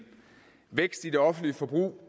vækst i det offentlige forbrug